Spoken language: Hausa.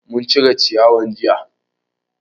Mun cire ciyawan jiya